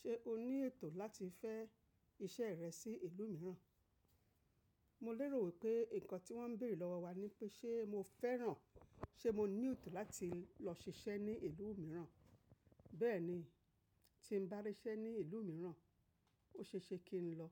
Ṣé o ní ètò láti fẹ́ iṣẹ́ rẹ sí ìlú mìíràn? Mo lérò wípé nǹkan tí wón ń bèèrè lọ́wọ́ wa ni pé ṣé mo fẹ́ràn, ṣé mo ní ètò láti lọ ṣiṣẹ́ ní ìlú mìíràn, bẹ́ẹ̀ni. Tí mo bá ríṣẹ́ ní ìlú mìíràn, ó ṣe é ṣe kí n lọ.